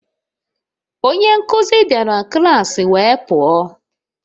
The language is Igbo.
Onye nkuzi bịara klas wee pụọ